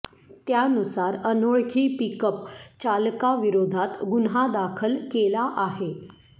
त्यानुसार अनोळखी पिकअप चालकाविरोधात गुन्हा दाखल केला आहे